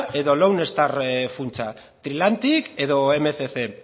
edo funtsa trilantic edo mila berrehun